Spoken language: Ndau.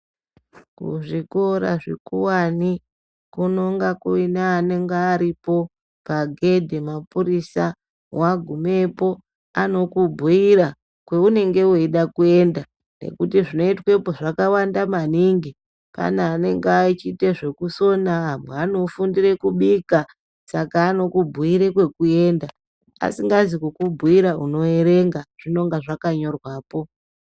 Kuzvikora zvekuwani kunonga kunenge kuine anonga aripo pagedhi mapurisa wagumepo anokubhuira kwaunenge weide kuenda ngekuti zvinoitwepo zvakawanda maningi. Pane anenge echiite zvekusoa amwe anofundirw kubika, Saka anokubhuira kwekuenda. Asingazi kukubhuira unoerenga zvinenge zvakanyrewapo